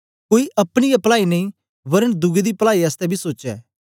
कोई अपनी गै पलाई नेई वरन दुए दी पलाई आसतै बी सोचे